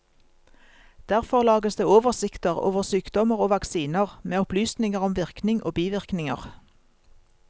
Derfor lages det oversikter over sykdommer og vaksiner, med opplysninger om virkning og bivirkninger.